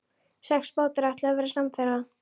Sex bátar ætluðu að verða samferða.